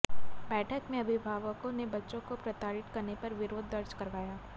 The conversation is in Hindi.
बैठक में अभिभावकों ने बच्चों को प्रताड़ित करने पर विरोध दर्ज करवाया